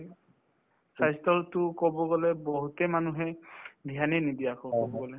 স্বাস্থ্য কব গলে বহুতে মানুহে dhyan য়ে নিদিয়া হল কব গলে